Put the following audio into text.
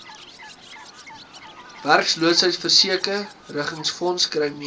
werkloosheidsversekeringsfonds kry meer